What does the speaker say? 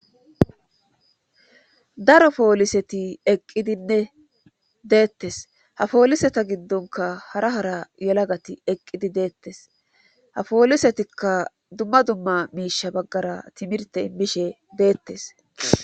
daro pooliseti eqqidinne deettes ha pooliseta giddonka hara hara yelagati eqqidi deettes ha poolisetikka dumma dumma miisha baggara timirte immishe deettes